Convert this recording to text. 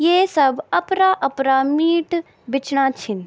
ये सब अपरा अपरा मीट बिचणा छिन।